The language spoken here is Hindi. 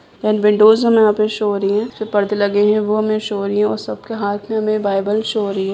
विंडोस हमे यहां पे शो हो रहीं हैं जो परदे लगें हैं वो हमे शो हो रही है और सबके हाथ में हमे बाइबल शो हो रही है।